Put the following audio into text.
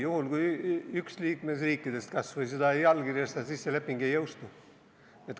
Juhul, kui kas või üks liikmesriikidest seda ei allkirjasta, siis see leping ei jõustu.